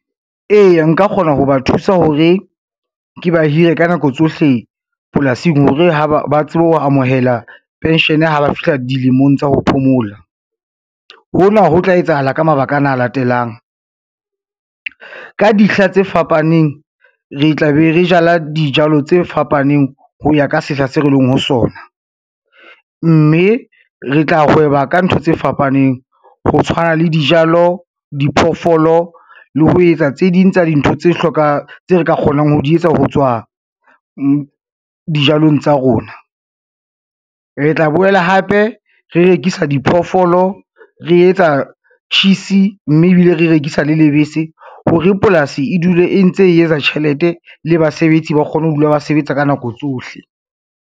Eya nka kgona ho ba thusa hore, ke ba hire ka nako tsohle polasing, hore ba tsebe ho amohela pension ha ba fihla dilemong tsa ho phomola. Hona ho tla etsahala ka mabaka ana a latelang, ka dihla tse fapaneng le tla be re jala dijalo tse fapaneng ho ya ka sehla se re leng ho sona, mme re tla hweba ka ntho tse fapaneng ho tshwana le dijalo, diphoofolo le ho etsa tse ding tsa dintho tse re ka kgonang ho di etsa ho tswa dijalong tsa rona. Re tla boela hape re rekisa diphoofolo, re etsa cheese, mme ebile re rekisa le lebese hore polasi e dule e ntse e etsa tjhelete le basebetsi ba kgone ho dula ba sebetsa ka nako tsohle.